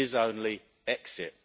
There is only exit.